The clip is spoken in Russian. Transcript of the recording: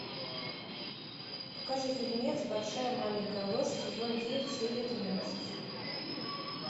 покажи фильмец большая маленькая ложь сезон девять серия двенадцать